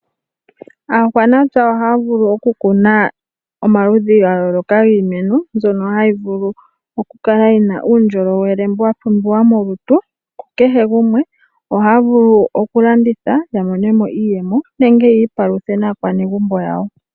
Aakwanapya ohaya vulu okukuna omaludhi gayooloka giimeno mbyono hayi vulu okukala yina uundjolowele mbu wapumbiwa molutu kukehe gumwe ohaya vulu, wo okulanditha yamonemo iiyemo nenge yiipaluthe momagumbo gawo.